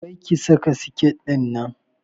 Kar ki saka siket ɗinnan!